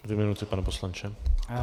Dvě minuty, pane poslanče.